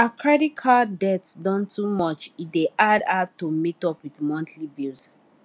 her credit card debt don too much e dey hard her to meet up with monthly bills